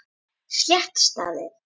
Slétt staðið.